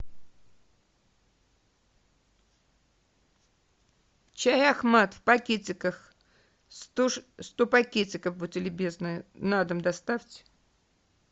чай ахмат в пакетиках сто пакетиков будьте любезны на дом доставьте